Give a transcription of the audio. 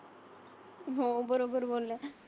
हो बरोबर बोलल्या